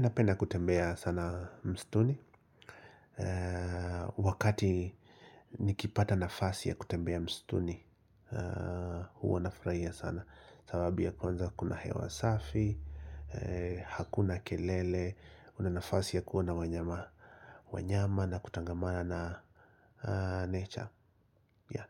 Napenda kutembea sana msituni. Wakati nikipata nafasi ya kutembea msituni huwa nafurahia sana sababu ya kwanza kuna hewa safi. Hakuna kelele una nafasi ya kuona wanyama. Wanyama na kutangamana na nature